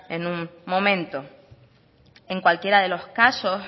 en un momento en cualquiera de los casos